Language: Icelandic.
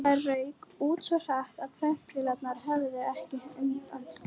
Það rauk út svo hratt, að prentvélarnar höfðu ekki undan.